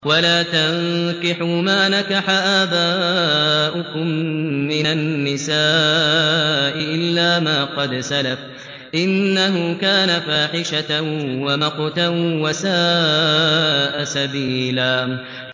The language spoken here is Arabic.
وَلَا تَنكِحُوا مَا نَكَحَ آبَاؤُكُم مِّنَ النِّسَاءِ إِلَّا مَا قَدْ سَلَفَ ۚ إِنَّهُ كَانَ فَاحِشَةً وَمَقْتًا وَسَاءَ سَبِيلًا